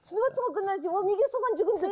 түсініп отырсың ба гүлназия ол неге соған жүгінді